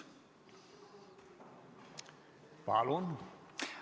Palun!